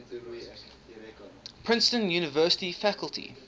princeton university faculty